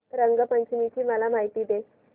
रंग पंचमी ची मला माहिती दे